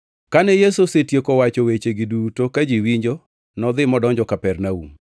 Kane Yesu osetieko wacho wechegi duto ka ji winjo, nodhi modonjo Kapernaum.